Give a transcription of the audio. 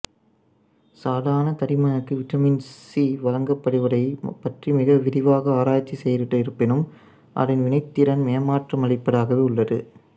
சாதாரண தடிமனுக்கு vitamin C வழங்கப்படுவதைப் பற்றி மிக விரிவாக ஆராய்ச்சி செய்திருப்பினும் அதன் வினைத்திறன் ஏமாற்றமளிப்பதாகவே உள்ளது